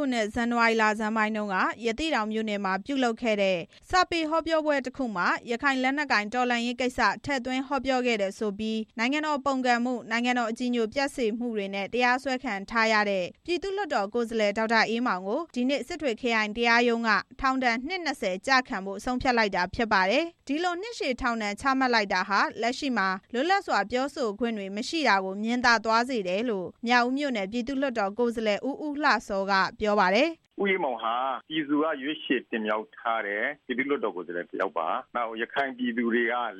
ခုနှစ်၊ ဇန်နဝါရီလဆန်းပိုင်းတုန်းက ရသေ့တောင်မြို့နယ်မှာ ပြုလုပ်ခဲ့တဲ့ စာပေဟောပြောပွဲတစ်ခုမှာ ရခိုင် လက်နက်ကိုင်တော်လှန်ရေးကိစ္စ ထည့်သွင်းဟောပြောခဲ့တယ်ဆိုပြီး နိုင်ငံတော်ပုန်ကန်မှု၊ နိုင်ငံတော်အကြည်ညို ပျက်စေမှုတွေနဲ့ တရားစွဲခံထားခဲ့ရတဲ့ ပြည်သူ့လွှတ်တော်ကိုယ်စားလှယ် ဒေါက်တာ အေးမောင်ကို ဒီနေ့စစ်တွေ ခရိုင်တရားရုံးက ထောင်ဒဏ် နှစ် ၂၀ ကျခံဖို့ ဆုံးဖြတ်လိုက်တာဖြစ်ပါတယ်။ အဲဒီလိုနှစ်ရှည်ထောင်ဒဏ်ချမှတ်လိုက်တာဟာ လက်ရှိမှာ လွတ်လပ်စွာ ပြောဆိုခွင့်တွေမရှိတာကို မြင်သာသွားစေတယ်လို့ မြောက်ဦးမြို့နယ် ပြည်သူ့လွှတ်တော်ကိုယ်စားလှယ် ဦးဦးလှစော က ပြောပါ \တယ်။ “ဦးအေးမောင်ဟာ ပြည်သူက ရွေးချယ်တင်မြှောက်ထားတဲ့ ပြည်သူ့လွှတ်တော်ကိုယ်စားလှယ် တစ်ယောက်ပါ။ ရခိုင်ပြည်သူက လေးစား